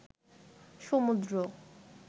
সমুদ্র